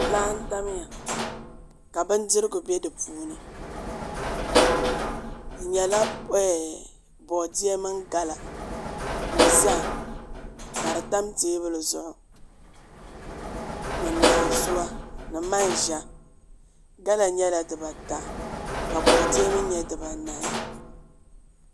Laa n tamya ka bindirigu bɛ di puuni di nyɛla boodiyɛ mini gala ni zaham ka di tam teebuli zuɣu ni naanzuwa ni manʒa gala nyɛla dibata ka boodiyɛ mii nyɛ dibanahi